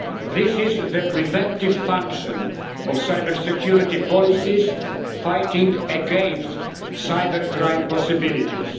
This is the preventive function of cybersecurity policies fighting against cybercrime possibilities.